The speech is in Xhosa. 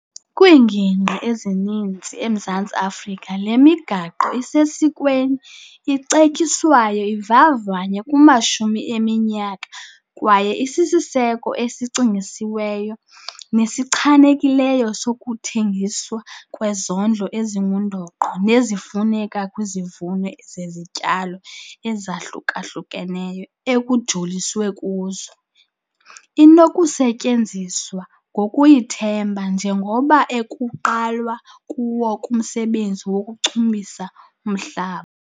Kwiingingqi ezininzi eMzantsi Afrika le migaqo isesikweni icetyiswayo ivavanywe kumashumi eminyaka kwaye isisiseko esicingisisiweyo nesichanekileyo sokuthengiswa kwezondlo ezingundoqo nezifuneka kwizivuno zezityalo ezahluka-hlukeneyo ekujoliswe kuzo. Inokusetyenziswa ngokuyithemba njengomba ekuqalwa kuwo kumsebenzi wokuchumisa umhlaba.